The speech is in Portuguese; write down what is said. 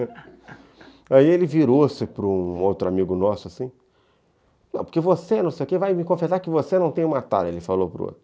Aí ele virou-se para um outro amigo nosso, assim, não, porque você, não sei o quê, vai me confessar que você não tem uma tara, ele falou para o outro.